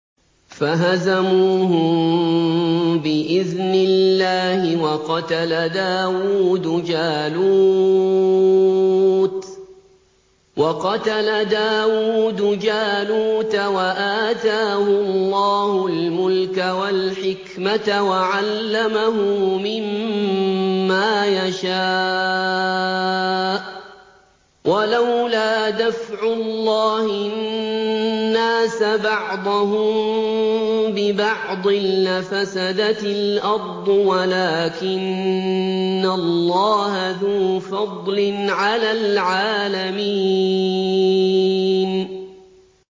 فَهَزَمُوهُم بِإِذْنِ اللَّهِ وَقَتَلَ دَاوُودُ جَالُوتَ وَآتَاهُ اللَّهُ الْمُلْكَ وَالْحِكْمَةَ وَعَلَّمَهُ مِمَّا يَشَاءُ ۗ وَلَوْلَا دَفْعُ اللَّهِ النَّاسَ بَعْضَهُم بِبَعْضٍ لَّفَسَدَتِ الْأَرْضُ وَلَٰكِنَّ اللَّهَ ذُو فَضْلٍ عَلَى الْعَالَمِينَ